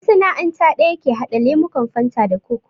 Masana'anta ɗaya ke haɗa lemukan fanta da kok